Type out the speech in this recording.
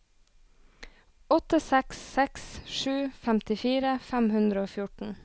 åtte seks seks sju femtifire fem hundre og fjorten